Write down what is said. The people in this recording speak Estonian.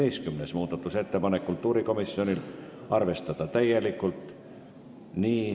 11. muudatusettepanek on kultuurikomisjonilt, arvestada täielikult.